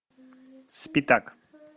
спитак